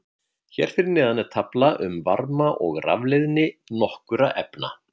Hér fyrir neðan er tafla um varma- og rafleiðni nokkurra efna.